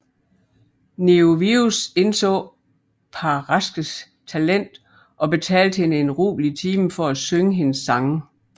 Neovius indså Paraskes talent og betalte hende en rubel i timen for at synge hendes sange